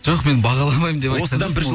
жоқ мен бағаламаймын деп